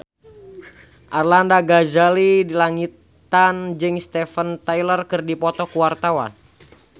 Arlanda Ghazali Langitan jeung Steven Tyler keur dipoto ku wartawan